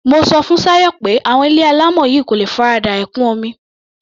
Mo sọ fún Ṣayọ̀ pé àwọn ilé alámọ̀ yìí kò lè farada ẹ̀kún omi.